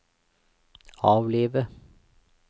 avlive